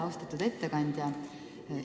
Austatud ettekandja!